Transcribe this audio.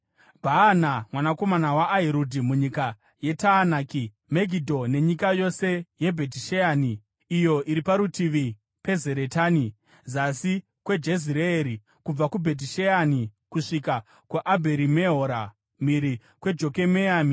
Bhaana, mwanakomana waAhirudhi munyika yeTaanaki, Megidho nenyika yose yeBhetisheani iyo iri parutivi peZaretani, zasi kweJezireeri, kubva kuBhetisheani kusvika kuAbherimehora mhiri kweJokomeami;